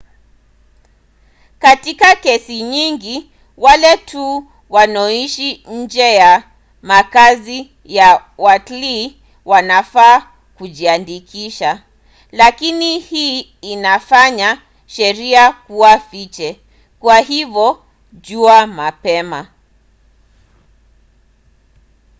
katika kesi nyingine wale tu wanoishi nje ya makazi ya watlii wanafaa kujiandikisha. lakini hii inafanya sheria kuwa fiche kwa hivyo jua mapema